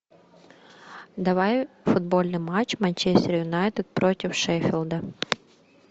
давай футбольный матч манчестер юнайтед против шеффилда